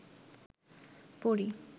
পরী